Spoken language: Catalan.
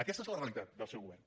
aquesta és la realitat del seu govern